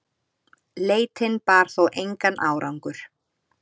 Leitin bar þó engan árangur.